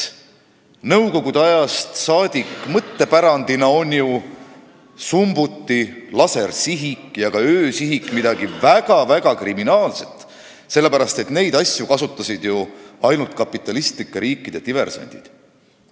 Nõukogude aja mõttepärandina on summuti, lasersihik ja ka öösihik midagi väga-väga kriminaalset, sellepärast et neid asju kasutasid ju ainult kapitalistlike riikide diversandid.